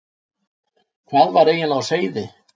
Hvað var eiginlega á seyði?